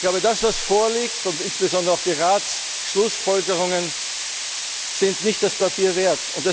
kommen. Ich glaube, das, was vorliegt, und insbesondere auch die Ratsschlussfolgerungen sind nicht das